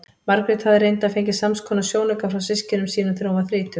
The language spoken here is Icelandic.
Margrét hafði reyndar fengið samskonar sjónauka frá systkinum sínum þegar hún varð þrítug.